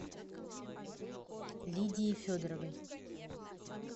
лидии федоровой